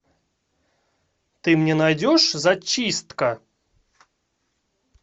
ты мне найдешь зачистка